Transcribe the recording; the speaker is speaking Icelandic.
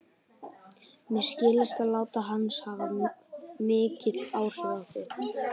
Mér skilst að lát hans hafi haft mikil áhrif á þig.